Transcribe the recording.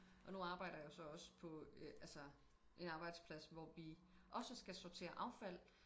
Og nu jeg arbejder jeg så også på altså en arbejdsplads hvor vi også skal sortere affald